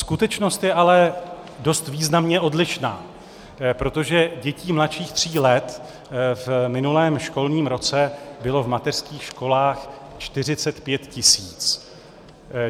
Skutečnost je ale dost významně odlišná, protože dětí mladších tří let v minulém školním roce bylo v mateřských školách 45 tisíc.